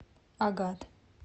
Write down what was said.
агат